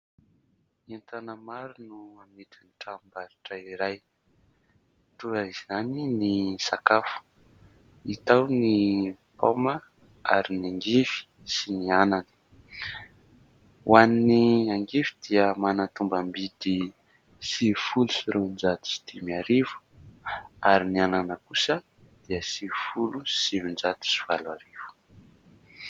Entana maro no amidin'ny tranombarotra iray, toa izany ny sakafo hita ao ny paoma ary ny angivy sy ny anana. Ho an'ny angivy dia manana tombam-bidy sivifolo sy roan-jato sy dimy arivo ary ny anana kosa dia sivifolo sy sivin-jato sy valo arivo.